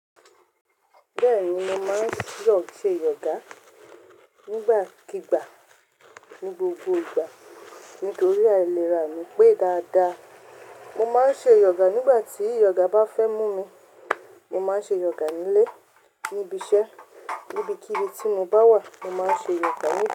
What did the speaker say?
Bẹ́ẹ̀ni, mo máa ń yọ ṣe yọ̀gà nígbàkígbà ní gbogbo ìgbà nítorí àìlera mi pé dáadáa. Mo máa ń ṣe yọ̀gà nígbà tí yọ̀gà bá fẹ́ mú mi. Mo máa ń ṣe yọ̀gà nílé, níbi iṣẹ́, níbikíni tí mo bá wà, mo máa ń ṣe yọ̀gà.